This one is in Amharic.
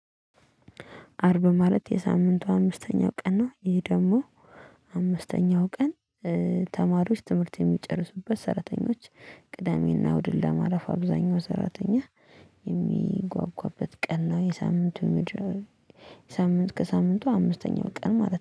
አርብ ማለት የሳምንቱ አምስተኛው ቀን ነው። ይሄ ደግሞ አምስተኛው ቀን። ተማሪዎች ትምህርት የሚጨርሱበት ሰራተኞች ቅዳሜና ውድል ለማረፍ አብዛኛው ሰራተኛ የሚጓጓበት ቀን ነው። የሳምንቱ ሳምንት ከሳምንቱ አምስተኛው ቀን ማለት ነው